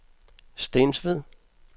Stensved